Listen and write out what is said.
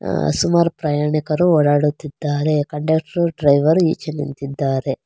ಸುಮಾರು ಪ್ರಯಾಣಿಕರು ಓಡಾಡುತ್ತಿದ್ದಾರೆ ಕಂಡಕ್ಟರ್ ಡ್ರೈವರ್ ಈಚೆ ನಿಂತಿದ್ದಾರೆ.